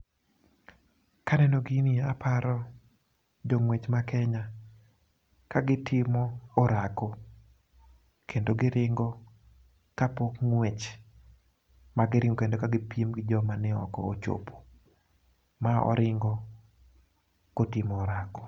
Kaneno gini aparo jong'wech ma Kenya ka gitimo orako kendo giringo kapok ng'wech ma giringo kapok ng'wech ma giringo ka gipiemgi joma ok ochopo . Ma oringo kotimo orako.